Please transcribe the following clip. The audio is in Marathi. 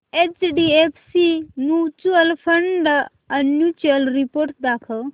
HDFC mutual fund annual report दाखव